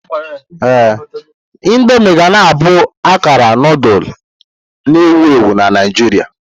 Indomii ga na abụ akara nudulu na-ewu ewu na Naijiria.